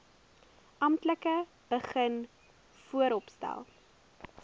amptelik begin vooropstel